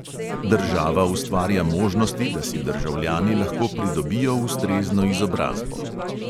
Država ustvarja možnosti, da si državljani lahko pridobijo ustrezno izobrazbo.